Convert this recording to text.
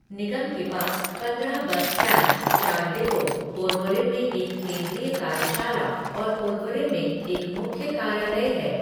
निगम के पास पंद्रह बस स्टैंड, चार डिपो, पोरवोरिम में एक केंद्रीय कार्यशाला और पोरवोरिम में एक मुख्य कार्यालय है।